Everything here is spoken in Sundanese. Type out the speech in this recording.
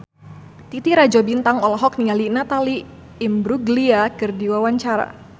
Titi Rajo Bintang olohok ningali Natalie Imbruglia keur diwawancara